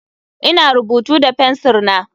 Ina rubutu da fensir na.